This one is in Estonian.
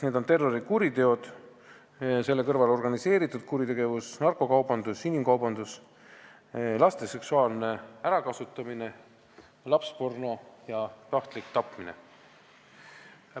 Need on terrorikuriteod ja nende kõrval organiseeritud kuritegevus, narkokaubandus, inimkaubandus, laste seksuaalne ärakasutamine, lapsporno ja tahtlik tapmine.